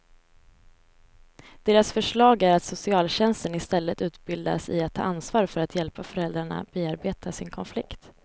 Deras förslag är att socialtjänsten istället utbildas i att ta ansvar för att hjälpa föräldrarna bearbeta sin konflikt.